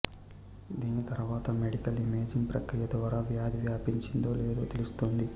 దీని తర్వాత medical imaging ప్రక్రియ ద్వారా వ్యాధి వ్యాపించిందో లేదో తెలుస్తుంది